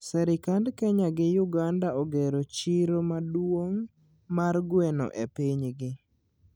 Serikand Kenya gi Uganda ogero chiro maduong mar gweno e pinygi